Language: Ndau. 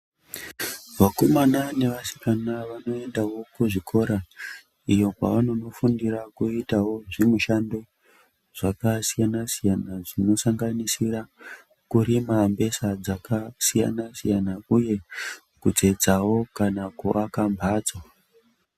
Vakomana ne vasikana vanoendawo ku zvikora iyo kwava nono fundira kuitawo zvi mishando zvaka siyana siyana dzino sanganisira kurima mbesa dzaka siyana siyana uye kutsetsawo kana ku aka mbatso.